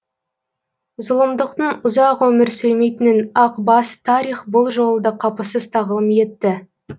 зұлымдықтың ұзақ өмір сүрмейтінін ақ бас тарих бұл жолы да қапысыз тағылым етті